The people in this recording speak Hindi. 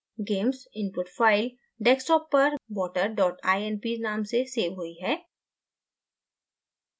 gamess input file desktop पर water inp नाम से सेव हुई है